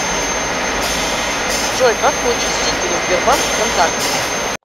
джой как получить стикеры сбербанк вконтакте